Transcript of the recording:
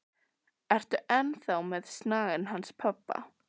Ertu enn þá með snagann hans pabba?